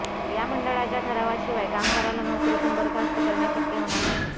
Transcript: या मंडळाच्या ठरावाशिवाय कामगाराला नोकरीतून बरखास्त करणे शक्य होणार नाही